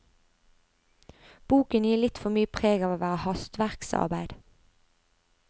Boken gir litt for mye preg av å være hastverksarbeid.